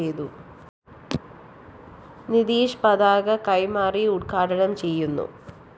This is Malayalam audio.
നിധീഷ് പതാക കൈമാറി ഉദ്ഘാടനം ചെയ്യുന്നു